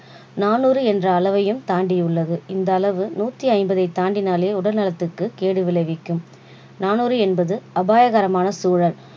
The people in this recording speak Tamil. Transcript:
நானூறு என்ற அளவையும் தாண்டி உள்ளது. இந்த அளவு நூற்று ஐம்பதை தாண்டினாலே உடல் நலத்திற்கு கேடு விளைவிக்கும் நானூறு என்பது அபாயகரமான சூழல்